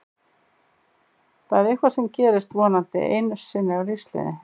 Það er eitthvað sem gerist vonandi einu sinni á lífsleiðinni.